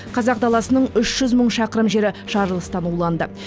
қазақ даласының үш жүз мың шақырым жері жарылыстан уланды